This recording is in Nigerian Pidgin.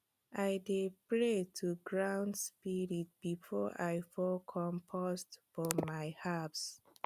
i dey pray to ground spirit before i pour compost for my herbs